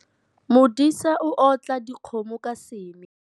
Modisa o otla dikgomo ka seme.